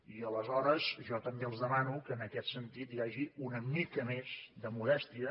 i aleshores jo també els demano que en aquest sentit hi hagi una mica més de modèstia